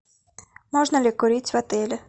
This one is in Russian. можно ли курить в отеле